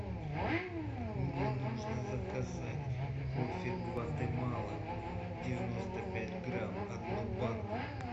мне нужно заказать кофе гватемала девяносто пять грамм одну банку